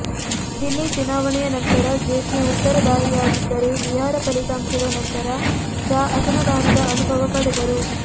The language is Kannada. ದಿಲ್ಲಿ ಚುನಾವಣೆಯ ನಂತರ ಜೇಟ್ಲಿ ಉತ್ತರದಾ ಯಿಯಾಗಿದ್ದರೆ ಬಿಹಾರ ಫಲಿತಾಂಶದ ನಂತರ ಶಾ ಅಸಮಾಧಾನದ ಅನುಭವ ಪಡೆದರು